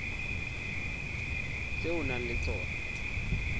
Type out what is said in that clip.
tse o nang le tsona